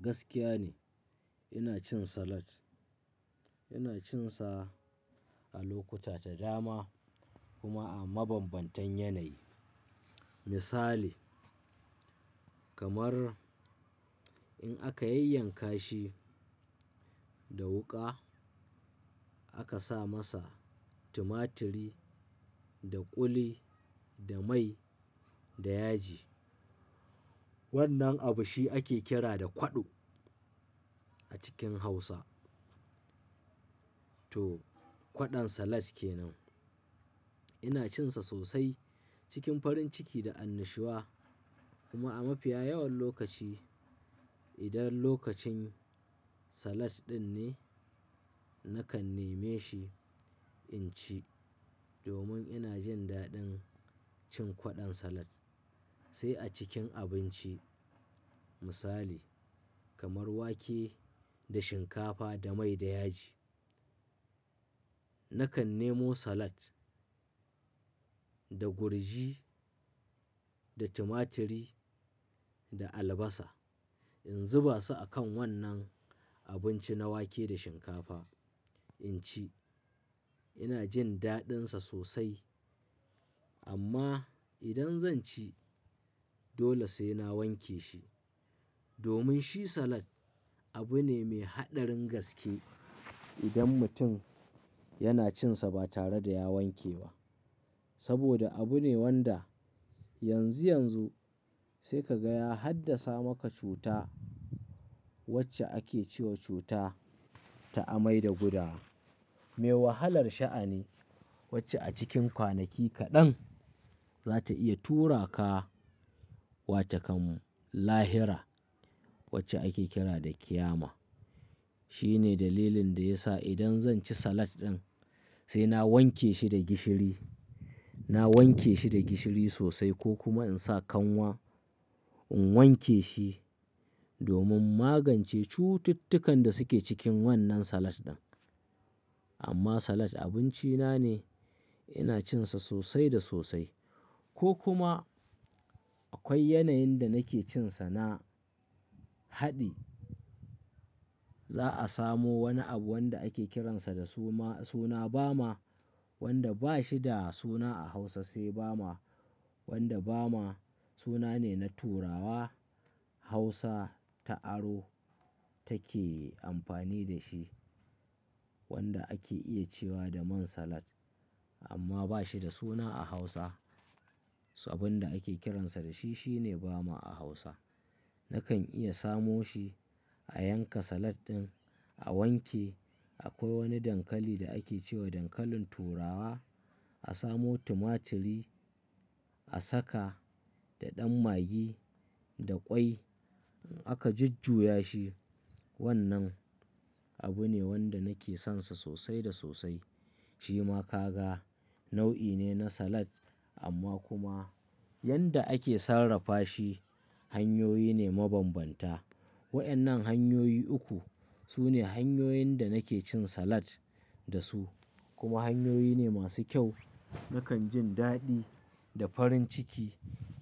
Gaskiya ne ina cin salad. Ina cinsa a lokuta da dama kuma a mabambantan yanayi. Misali kamar in aka yayyanka shi da wuƙa aka sa masa tumaturi da ƙuli da mai da yaji. Wannan abu shi ake kira da kwaɗo a cikin Hausa. To kwaɗon salad ke nan. Ina cinsa sosai cikin farin ciki da annashuwa kuma a mafiya yawan lokaci idan lokacin salad ɗin ne nakan neme shi in ci domin ina jin daɗin cin kwaɗon salad. Sai a cikin abinci misali kamar wake da shinkafa da mai da yaji. Nakan nemo salad da gurji da tumaturi da albasa in zuba su a kan wannan abinci na wake da shinkafa in ci. Ina jin daɗinsa sosai amma idan zan ci dole sai na wanke shi domin shi salad abu ne mai haɗarin gaske idan mutum yana cinsa ba tare da ya wanke ba. Saboda abu ne wanda yanzu yanzu sai ka gaya haddasa maka cuta wacce ake ce wa cuta ta amai da gudawa. Me wahalar sha'ani wacce a cikin kwanaki kaɗan za ta iya tura ka wa takan lahira wacce ake kira da ƙiyama. Shi ne dalilin da ya sa idan zan ci salad ɗin sai na wanke shi da gishiri, na wanke shi da gishiri sosai ko kuma in sa kanwa in wanke shi domin magance cututtukan da suke cikin wannan salad ɗin. Amma salad abinci na ne ina cinsa sosai da sosai ko kuma akwai yanayin da nake cinsa na haɗi. Za a samo wani abu wanda ake kiransa da suma-- suna bama wanda ba shi da suna a Hausa sai bama. Wanda bama suna ne na Turawa. Hausa ta aro take amfani da shi. Wanda ake iya cewa da man salad amma ba shi da suna a Hausa. Abin da ake kiransa da shi shine bama a Hausa. Nakan iya samo shi a yanka salad ɗin a wanke. Akwai wani dankali da ake ce wa dankalin Turawa. A samo tumaturi a saka da ɗan magi da ƙwai aka jujjuya shi. Wannan abu ne wanda nake sonsa sosai da sosai. Shi ma kaga nau'i ne na salad amma kuma yadda ake sarrafa shi hanyoyi ne mabanbanta. Waɗannan hanyoyi uku su ne hanyoyin da nake cin salad da su kuma hanyoyi ne masu kyau. Nakan jin daɗi da farin ciki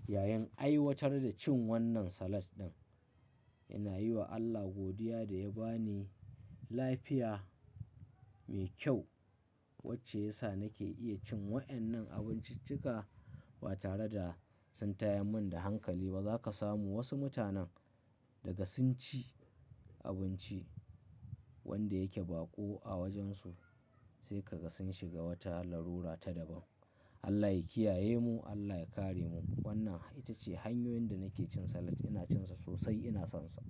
yayin aiwatar da cin wannan salad ɗin. Ina yi wa Allah godiya da ya ba ni lafiya mai kyau wacce ya sa nake iya cin waɗannan abinciccika ba tare da sun tayar mun da hankali ba. Za ka samu wasu mutanen daga sun ci abinci wanda yake baƙo a wajen su sai kaga sun shiga wata larura ta daban. Allah ya kiyaye mu, Allah ya kare mu. Wannan ita ce hanyoyin da nake cin salad. Ina cinsa sosai, ina sonsa.